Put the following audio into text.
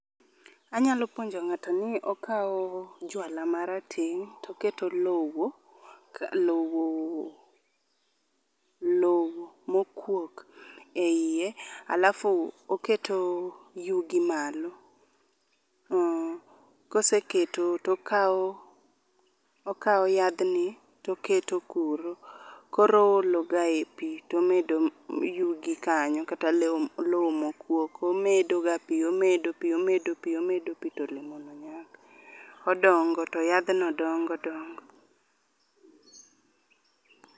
Anyalo puonjo ng'ato ni okawo juala marateng' to oketo lowo, lowo lowo mokuok eiye alafu oketo yugi malo. Koseketo tokawo yadhni toketo kuro. Koro oologae pi tomedo yugi kanyo kata lowo mokuok to omedoga pi omedo pi omedo pi to olemono nyak. Odongo to yadhno dongo dongo